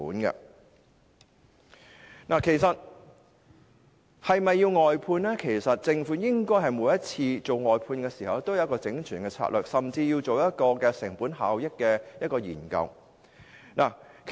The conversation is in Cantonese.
至於是否需要外判，其實政府每次外判時，應該有一套完整的策略，甚至須進行成本效益的研究。